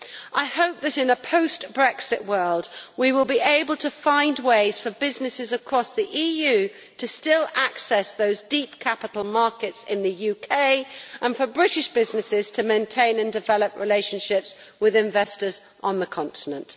I hope that in a post Brexit world we will be able to find ways for businesses across the EU to still access those deep capital markets in the UK and for British businesses to maintain and develop relationships with investors on the continent.